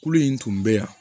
Kulo in tun bɛ yan